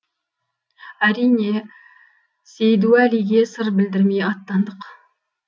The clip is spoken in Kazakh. әрине сейдуәлиге сыр білдірмей аттандық